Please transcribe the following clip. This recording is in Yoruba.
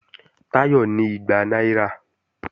Táyọ̀ ní igba náírà